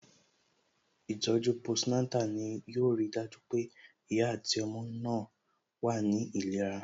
Ìtọ̀ju post Natal ni yo ri dájú pé ìyá àti ọmọ náà wà ní ìlera